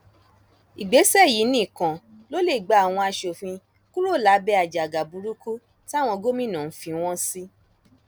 ìgbésẹ yìí nìkan ló lè gba àwọn asòfin kúrò lábẹ àjàgà burúkú táwọn gómìnà ń fi wọn sí